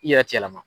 I yɛrɛ ti yɛlɛma